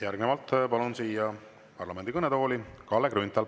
Järgnevalt palun siia parlamendi kõnetooli Kalle Grünthali.